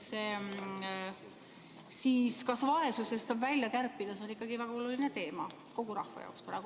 Kas vaesusest saab välja kärpida, see on ikkagi väga oluline teema kogu rahva jaoks praegu.